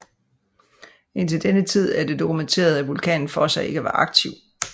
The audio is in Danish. Indtil denne tid er det dokumenteret at vulkanen Fossa ikke var aktiv